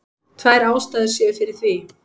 Tvær ástæður séu fyrir því